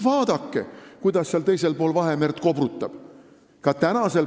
Vaadake, kuidas seal teisel pool Vahemerd kobrutab!